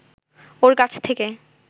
ওর কাছ থেকে